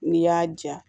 N'i y'a ja